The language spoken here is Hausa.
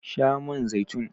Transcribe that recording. Sha man zaitun!